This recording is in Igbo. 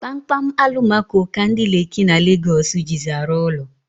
Kpamkpam alumako ka ndi Leki na Legosi jizi arụ ụlọ